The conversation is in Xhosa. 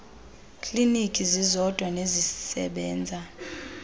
kliniki zizodwa nezisebenza